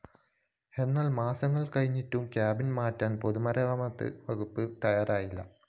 എന്നാല്‍ മാസങ്ങള്‍ കഴിഞ്ഞിട്ടും കാബിൻ മാറ്റാന്‍ പൊതുമരാമത്ത് വകുപ്പ് തയ്യാറായിട്ടില്ല